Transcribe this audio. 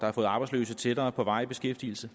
har fået arbejdsløse tættere på varig beskæftigelse